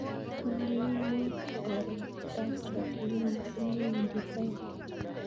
Olly ainon oret ab chokyinet missing newendi taun